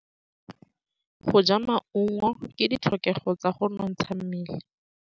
Go ja maungo ke ditlhokegô tsa go nontsha mmele.